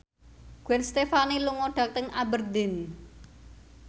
Gwen Stefani lunga dhateng Aberdeen